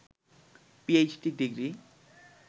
PhD degree